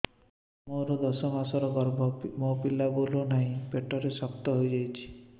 ମୋର ଦଶ ମାସର ଗର୍ଭ ମୋ ପିଲା ବୁଲୁ ନାହିଁ ପେଟ ଶକ୍ତ ହେଇଯାଉଛି